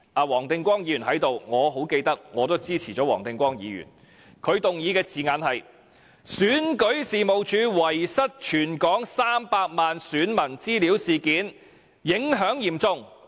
黃定光議員在席，我記得我也支持黃定光議員的議案，他的議案措辭是："選舉事務處遺失全港300萬選民資料事件，影響嚴重。